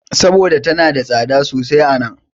Saboda tana da tsada sosai a nan.